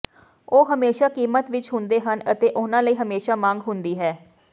ਉਹ ਹਮੇਸ਼ਾਂ ਕੀਮਤ ਵਿੱਚ ਹੁੰਦੇ ਹਨ ਅਤੇ ਉਨ੍ਹਾਂ ਲਈ ਹਮੇਸ਼ਾਂ ਮੰਗ ਹੁੰਦੀ ਹੈ